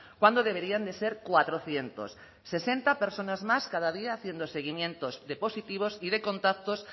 cuando deberían de ser cuatrocientos sesenta personas más cada día haciendo seguimientos de positivos y de contactos